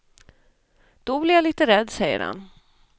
Då blir jag lite rädd, säger han.